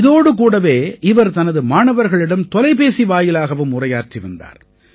இதோடு கூடவே இவர் தனது மாணவர்களிடம் தொலைபேசி வாயிலாகவும் உரையாற்றி வந்தார்